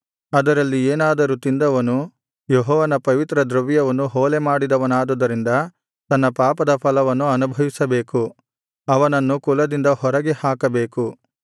ಅದರಲ್ಲಿ ಏನಾದರೂ ತಿಂದವನು ಯೆಹೋವನ ಪವಿತ್ರ ದ್ರವ್ಯವನ್ನು ಹೊಲೆಮಾಡಿದವನಾದುದರಿಂದ ತನ್ನ ಪಾಪದ ಫಲವನ್ನು ಅನುಭವಿಸಬೇಕು ಅವನನ್ನು ಕುಲದಿಂದ ಹೊರಗೆ ಹಾಕಬೇಕು